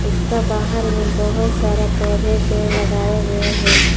उसका बाहर में बहुत सारा पौधे पेड़ लगाए गए हैं।